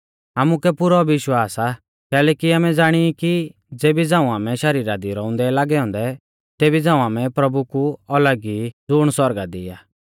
आमुकै पुरौ विश्वास आ कैलैकि आमै ज़ाणी ई कि ज़ेबी झ़ांऊ आमै शरीरा दी रौउंदै लागै औन्दै तेबी झ़ांऊ आमै प्रभु कु अलग ई ज़ुण सौरगा दी आ